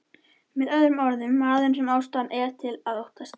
Með öðrum orðum, maður sem ástæða er til að óttast.